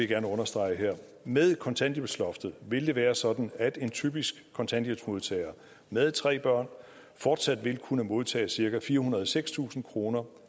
gerne understrege her med kontanthjælpsloftet vil det være sådan at en typisk kontanthjælpsmodtager med tre børn fortsat vil kunne modtage cirka firehundrede og sekstusind kroner